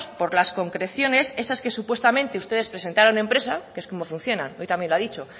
por las concreciones esas que supuestamente ustedes presentaron en prensa que es como funciona hoy también lo ha dicho